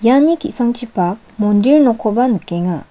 iani ki·sangchipak mandir nokkoba nikenga.